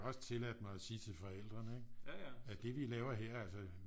Også tilladt mig at sige til forældrene ikke at det de laver her altså